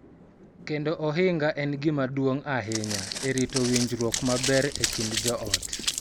Keto ohinga en gima duong� ahinya e rito winjruok maber e kind joot.